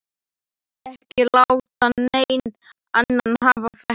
Ekki láta neinn annan hafa þetta.